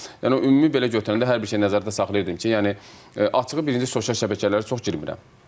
Yəni ümumi belə götürəndə hər bir şeyi nəzərdə saxlayırdım ki, yəni açığı birinci sosial şəbəkələrə çox girmirəm.